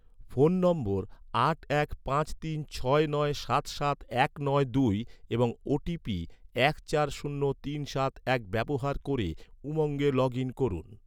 phone নম্বর আট এক পাঁচ তিন ছয় নয় সাত সাত এক নয় দুই এবং ওটিপি এক চার শূন্য তিন সাত এক ব্যবহার ক’রে, উমঙ্গে লগ ইন করুন